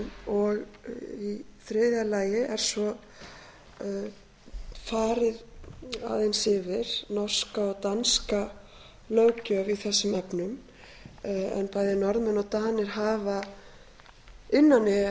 og í þriðja lagi er farið aðeins yfir norska og danska löggjöf í þessum afnema en bæði norðmenn og danir hafa